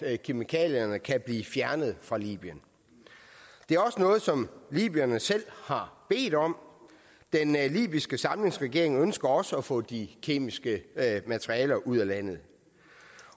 at kemikalierne kan blive fjernet fra libyen det er også noget som libyerne selv har bedt om den libyske samlingsregering ønsker også at få de kemiske materialer ud af landet